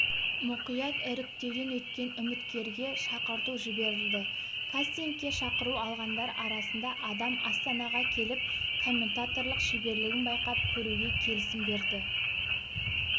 мұқият іріктеуден өткен үміткерге шақырту жіберілді кастингке шақыру алғандар арасында адам астанаға келіп комментаторлық шеберлігін байқап көруге келісім берді